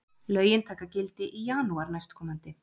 Lögin taka gildi í janúar næstkomandi